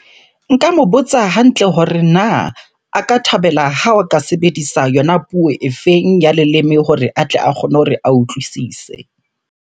Nka mo botsa hantle hore na a ka thabela ha o ka sebedisa yona puo e feng ya leleme hore a tle a kgone hore a utlwisise?